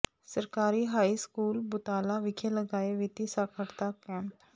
ਸਰਕਾਰੀ high school Butala ਵਿਖੇ ਲਗਾਇਆ ਵਿੱਤੀ ਸਾਖ਼ਰਤਾ ਕੈਂਪ